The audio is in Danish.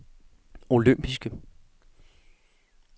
olympiske